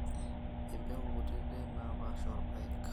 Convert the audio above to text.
Empeku kutitik naapaasha oorpaek